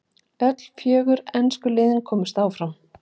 Öll fjögur ensku liðin komust áfram.